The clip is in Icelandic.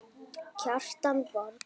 Kjartan Borg.